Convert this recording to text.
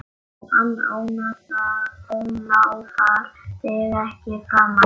Hann ónáðar þig ekki framar.